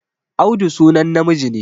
Audu sunan namiji ne